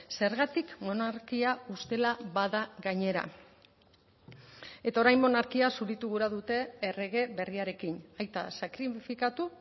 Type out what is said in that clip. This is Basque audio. zergatik monarkia ustela bada gainera eta orain monarkia zuritu gura dute errege berriarekin aita sakrifikatu